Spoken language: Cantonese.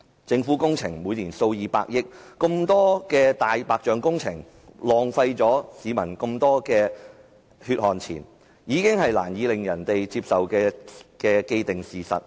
政府每年批出工程數以百億元計，這麼多“大白象”工程，浪費市民這麼多血汗錢，已是令人難以接受的既定事實。